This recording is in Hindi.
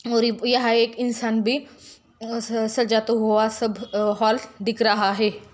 और यहां एक इंसान भी स-स सजाता हुआ सब हॉल दिख रहा है।